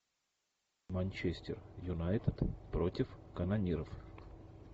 манчестер юнайтед против канониров